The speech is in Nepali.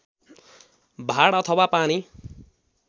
भाड अथवा पानी